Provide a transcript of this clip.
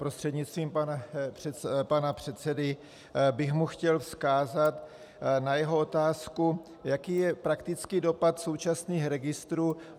Prostřednictvím pana předsedy bych mu chtěl vzkázat na jeho otázku, jaký je praktický dopad současných registrů.